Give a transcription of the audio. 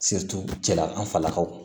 cɛla an falakaw